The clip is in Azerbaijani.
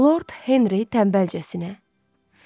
Lord Henri tənbəlcəsinə: